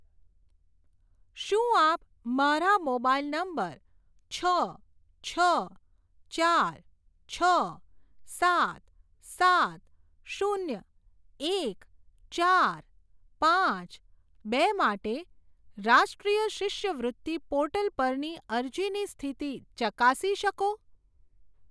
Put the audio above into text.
શું આપ મારા મોબાઈલ નંબર છ છ ચાર છ સાત સાત શૂન્ય એક ચાર પાંચ બે માટે રાષ્ટ્રીય શિષ્યવૃત્તિ પોર્ટલ પરની અરજીની સ્થિતિ ચકાસી શકો?